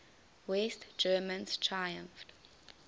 west germans triumphed